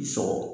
I sɔgɔ